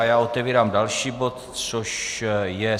A já otevírám další bod, což je